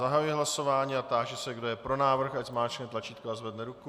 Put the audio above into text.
Zahajuji hlasování a táži se, kdo je pro návrh, ať zmáčkne tlačítko a zvedne ruku.